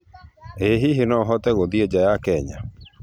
Ĩ hĩhĩ no ahote guthĩĩ nja ya Kenya